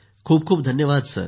खूप खूप धन्यवाद